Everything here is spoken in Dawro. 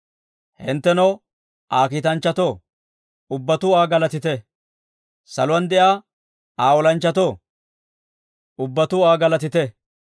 Hinttenoo, Aa kiitanchchatoo, ubbatuu Aa galatite. Saluwaan de'iyaa Aa olanchchatoo, ubbatuu Aa galatite.